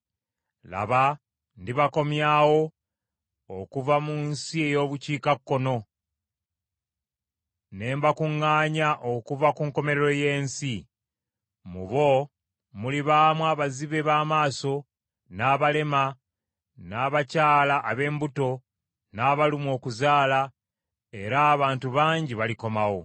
Laba, ndibakomyawo okuva mu nsi ey’obukiikakkono, ne mbakuŋŋaanya okuva ku nkomerero y’ensi. Mu bo mulibaamu abazibe b’amaaso, n’abalema, n’abakyala ab’embuto, n’abalumwa okuzaala, era abantu bangi balikomawo.